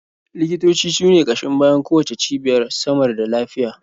Likitoci su ne ƙashin bayan kowacce cibiyar samar da lafiya.